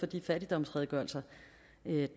de fattigdomsredegørelser